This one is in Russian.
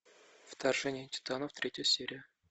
вторжение титанов третья серия